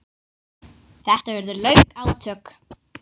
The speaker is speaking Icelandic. Þetta urðu löng átök.